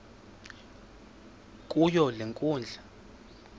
kuyo le nkundla